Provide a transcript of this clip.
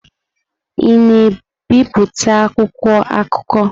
Ị na-ebipụta akwụkwọ akụkọ?